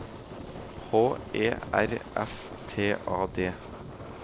H E R S T A D